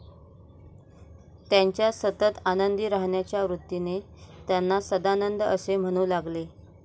त्यांच्या सतत आनंदी राहण्याच्या वृत्तीने त्यांना सदानंद असे म्हणू लागले.